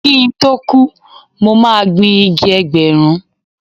Kí n tó kú, mo máa gbin igi Ẹgbẹ̀rún.